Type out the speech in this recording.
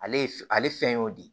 Ale ye f ale fɛn y'o de ye